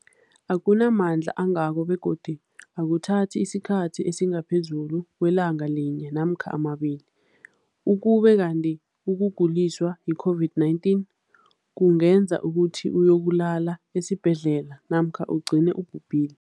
akuna mandla angako begodu akuthathi isikhathi esingaphezulu kwelanga linye namkha mabili, ukube kanti ukuguliswa yi-COVID-19 kungenza ukuthi uyokulala esibhedlela namkha ugcine ubhubhile.